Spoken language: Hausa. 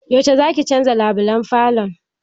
Yaushe zaki canza labulan falon?